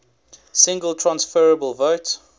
single transferable vote